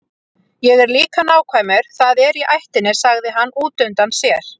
Ég er líka nákvæmur, það er í ættinni, sagði hann útundann sér.